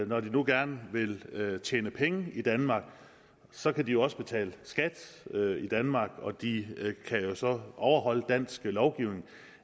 når de nu gerne vil tjene penge i danmark så kan de også betale skat i danmark og de kan jo så overholde dansk lovgivning